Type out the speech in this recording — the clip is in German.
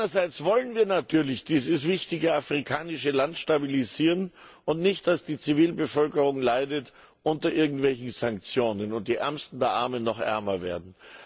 Einerseits wollen wir natürlich dieses wichtige afrikanische Land stabilisieren und wollen nicht, dass die Zivilbevölkerung unter irgendwelchen Sanktionen leidet und die Ärmsten der Armen noch ärmer werden.